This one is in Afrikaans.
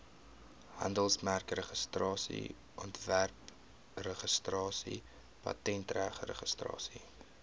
handelsmerkregistrasie ontwerpregistrasie patentregistrasie